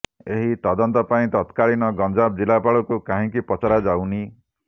ଏହି ତଦନ୍ତ ପାଇଁ ତତ୍କାଳୀନ ଗଂଜାମ ଜିଲ୍ଲାପାଳଙ୍କୁ କାହିଁକି ପଚରାଯାଉନି